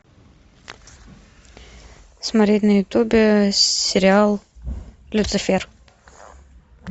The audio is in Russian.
смотреть на ютубе сериал люцифер